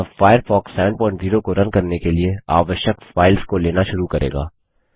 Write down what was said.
यह फ़ायरफ़ॉक्स 70 को रन करने के लिए आवश्यक फाइल्स को लेना शुरू करेगा